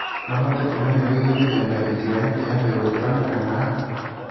No hote kũmenya wĩgie mĩthemba ĩtiganĩte ya mbegũ cironekana haha?